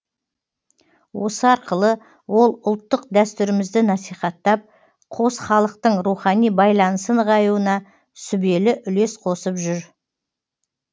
осы арқылы ол ұлттық дәстүрімізді насихаттап қос халықтың рухани байланысы нығаюына сүбелі үлес қосып жүр